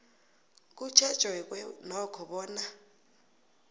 kutjhejweke nokho bona